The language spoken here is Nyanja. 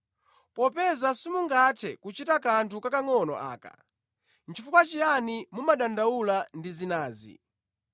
Popeza simungathe kuchita kanthu kakangʼono aka, nʼchifukwa chiyani mumadandaula ndi zinazi?